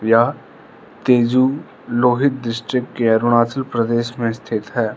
यह तेजू लोहित डिस्टिक के अरुणाचल प्रदेश में स्थित है।